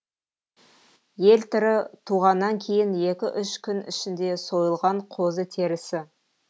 елтірі туғаннан кейін екі үш күн ішінде сойылған қозы терісі